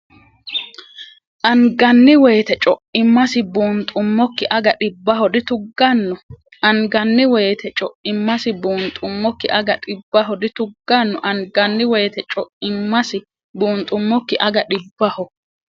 Anganni wayita co’immasi buunxummokki aga dhibbaho dituggan- Anganni wayita co’immasi buunxummokki aga dhibbaho dituggan- Anganni wayita co’immasi buunxummokki aga dhibbaho.